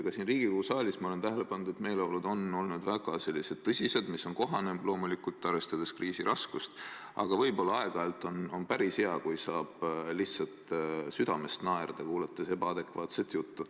Ka siin Riigikogu saalis ma olen tähele pannud, et kui üldine meeleolu on väga tõsine – praegu on see arvestades kriisi raskust loomulikult kohane –, võib olla aeg-ajalt olla päris hea, kui saab lihtsalt südamest naerda, kuulates ebaadekvaatset juttu.